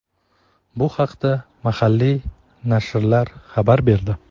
Bu haqda mahalliy nashrlar xabar berdi.